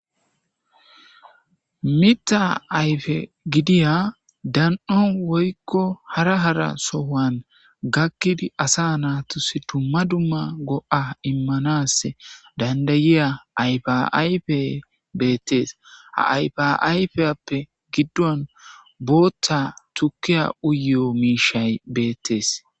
Mitha aye gidiya dan'o woyko hara hara sohon gakidi asa naturals duma duma go'a imanas danda'iya ayfa ayfey beetes ha ayfa ayfiyape giduwan bootha tukiya uyiyo mishay beetes